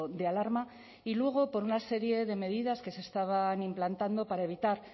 de alarma y luego por una serie de medidas que se estaban implantando para evitar